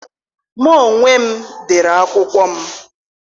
M anwụ dey akwụkwọ m.